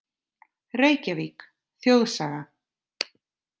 Reykjavík: Þjóðsaga.